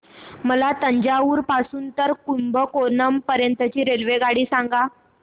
मला तंजावुर पासून तर कुंभकोणम पर्यंत ची रेल्वेगाडी सांगा